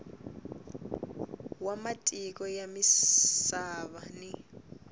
wa matiko ya misava ni